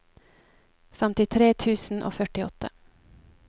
femtitre tusen og førtiåtte